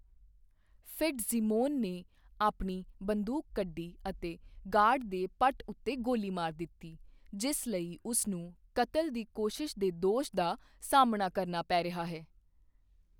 Fitzsimon ਨੇ ਆਪਣੀ ਬੰਦੂਕ ਕੱਢੀ ਅਤੇ ਗਾਰਡ ਦੇ ਪੱਟ ਉੱਤੇ ਗੋਲੀ ਮਾਰ ਦਿੱਤੀ, ਜਿਸ ਲਈ ਉਸ ਨੂੰ ਕਤਲ ਦੀ ਕੋਸ਼ਿਸ਼ ਦੇ ਦੋਸ਼ ਦਾ ਸਾਹਮਣਾ ਕਰਨਾ ਪੈ ਰਿਹਾ ਹੈ।